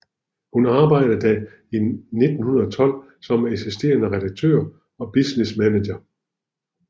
Hun arbejded der i 1912 som assisterende redaktør og business manager